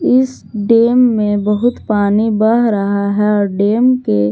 इस डेम में बहुत पानी बह रहा है डेम के--